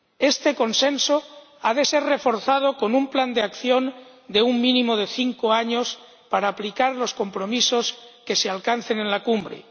Este consenso ha de ser reforzado con un plan de acción de un mínimo de cinco años para aplicar los compromisos que se alcancen en la Cumbre.